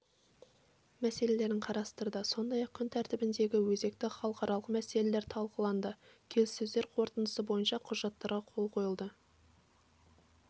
мәселелерін қарастырды сондай-ақ күн тәртібіндегі өзекті халықаралық мәселелер талқыланды келіссөздер қорытындысы бойынша құжаттарға қол қойылды